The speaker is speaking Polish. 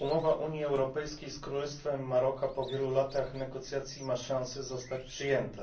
Umowa Unii Europejskiej z Królestwem Maroka po wielu latach negocjacji ma szansę zostać przyjęta.